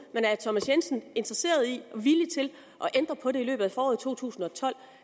thomas jensen interesseret i og villig til at ændre på det i løbet af foråret to tusind og tolv